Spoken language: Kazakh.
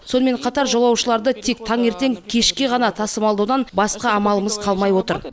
сонымен қатар жолаушыларды тек таңертең кешке ғана тасымалдаудан басқа амалымыз қалмай отыр